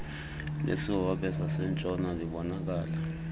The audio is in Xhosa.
lesihobe sasentshona libonakala